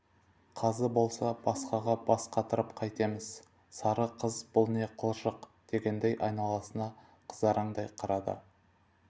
қазы болса басқаға бас қатырып қайтемз сары қыз бұл не қылжақ дегендей айналасына қызараңдай қарады